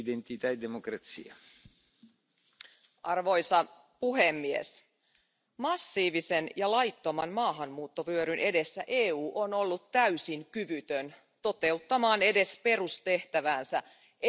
Arvoisa puhemies, massiivisen ja laittoman maahanmuuttovyöryn edessä EU on ollut täysin kyvytön toteuttamaan edes perustehtäväänsä eli suojelemaan naisiaan ja lapsiaan.